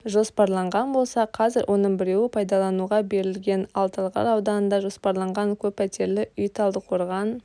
жоспарланған болса қазір оның біреуі пайдалануға берілген ал талғар ауданында жоспарланған көп пәтерлі үй талдықорған